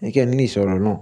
ẹnikẹ́ni lè sọ̀rọ̀ Ọlọ́run.